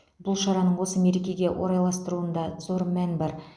бұл шараның осы мерекеге орайластырылуында зор мән бар